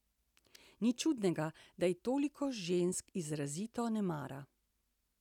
Ni čudnega, da je toliko žensk izrazito ne mara.